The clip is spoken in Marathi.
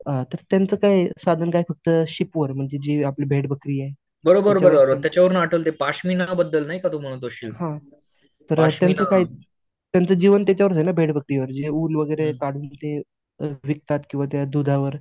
हां तर त्यांचं काय साधन काय फक्त म्हणजे आपली जी भेड बकरी आहे हं तर त्यांचं जीवन त्यांच्यावर आहे ना भेड बकरीवर जे उल वगैरे काढून ते विकतात किंवा त्या दुधावर